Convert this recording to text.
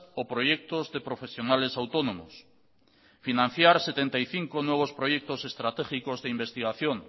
o proyectos de profesionales autónomos financiar setenta y cinco nuevos proyectos estratégicos de investigación